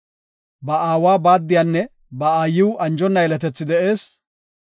Ba aawa baaddiyanne ba aayiw anjona yeletethi de7ees.